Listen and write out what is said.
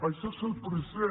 això és el present